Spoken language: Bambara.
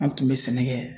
An tun bɛ sɛnɛ kɛ